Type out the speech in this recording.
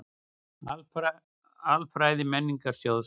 Alfræði Menningarsjóðs.